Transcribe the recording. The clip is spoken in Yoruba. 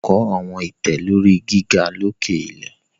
Agbọn yoo kọ awọn itẹ lori giga loke ilẹ